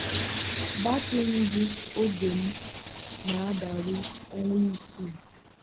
batrị ngụ oge m na-adịru ọnwa isii.